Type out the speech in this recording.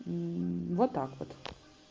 вот так вот